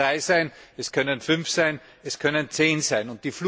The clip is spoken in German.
Es können drei sein, es können fünf sein, es können zehn sein.